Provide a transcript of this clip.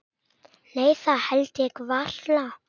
Nei það held ég varla.